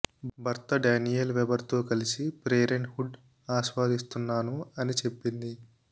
భర్త Daniel Weber తో కలసి ప్రేరెంట్ హుడ్ ఆస్వాదిస్తున్నాను అని చెప్పింది